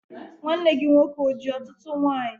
Nwanne gị nwoke o ji ọtụtụ nwanyị?